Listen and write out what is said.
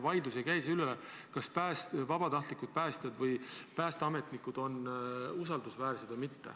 Vaidlus ei käi siin selle üle, kas vabatahtlikud päästjad või päästeametnikud on usaldusväärsed või mitte.